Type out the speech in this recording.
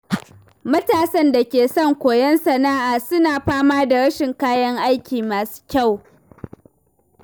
Matasan da ke son koyon sana’a suna fama da rashin kayan aiki masu kyau.